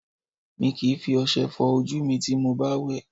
Mi kìí fi ọṣẹ fọ ojú mi ti mo bá wẹ̀